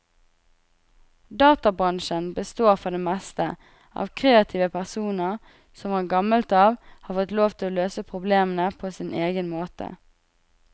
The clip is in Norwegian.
Databransjen består for det meste av kreative personer som fra gammelt av har fått lov til å løse problemene på sin egen måte.